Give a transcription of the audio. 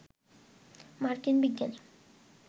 মার্কিন বিজ্ঞানী